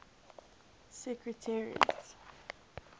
secretariat